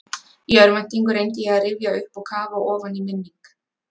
Í örvæntingu reyndi ég að rifja upp og kafa ofan í minning